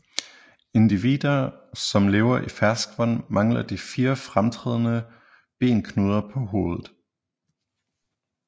Individer som lever i ferskvand mangler de fire fremtrædende benknuder på hovedet